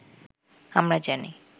আমরা জানি